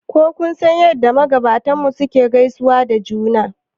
Ko kun san yadda magabatanmu suke gaisawa da juna